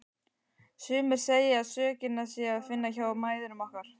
Sumir segja að sökina sé að finna hjá mæðrum okkar.